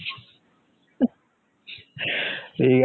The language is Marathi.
या